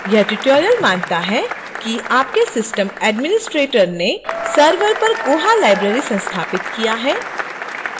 यह tutorial मानता है कि आपके system administrator ने server पर koha library संस्थापित किया है